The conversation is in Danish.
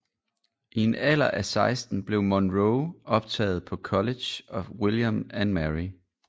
I en alder af 16 blev Monroe optaget på College of William and Mary